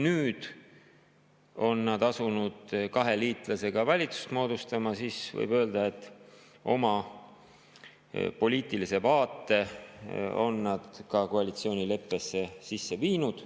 Nüüd, kui nad on asunud kahe liitlasega valitsust moodustama, võib öelda, et nad on oma poliitilise vaate ka koalitsioonileppesse sisse viinud.